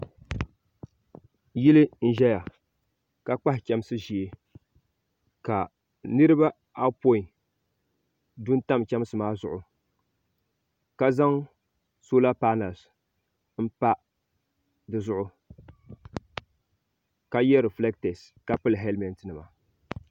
Yili n ʒɛya ka kpahi chemsi ʒee ka niriba ayopoin du m pani chemsi maa zuɣu ka zaŋ sola panali m pa dizuɣu ka ye refileta ka pili helimenti nima.